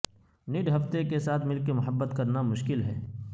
نڈ ہفتہ کے ساتھ مل کر محبت کرنا مشکل ہے